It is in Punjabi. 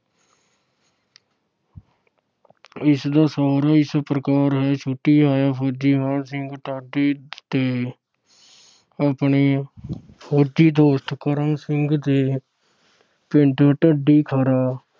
ਇਸ ਦਾ ਸਾਰ ਇਸ ਪ੍ਰਕਾਰ ਹੈ ਛੁੱਟੀ ਆਇਆ ਫੌਜੀ ਮਾਣ ਸਿੰਘ ਤੇ ਆਪਣੇ ਫੌਜੀ ਦੋਸਤ ਕਰਮ ਸਿੰਘ ਦੇ ਪਿੰਡ ਢੱਡੀਖਰਾ